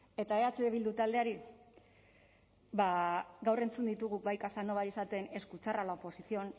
eta eh bildu taldeari ba gaur entzun ditugu bai casanova esaten escuchar a la oposición